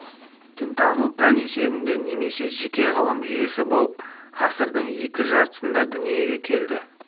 дінтану пән есебінде немесе жеке ғылым жүйесі болып ғасырдың екінші жартысында дүниеге келді